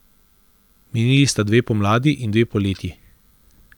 Minili sta dve pomladi in dve poletji.